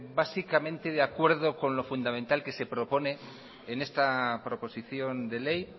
básicamente de acuerdo con lo fundamental que se propone en esta proposición de ley